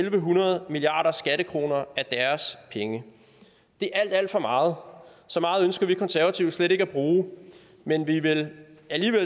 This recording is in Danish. en hundrede milliarder skattekroner af deres penge det er alt alt for meget så meget ønsker vi konservative slet ikke at bruge men vi vil